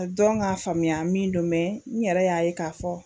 Dɔn k'a faamuya min don mɛ n yɛrɛ y'a ye k'a fɔ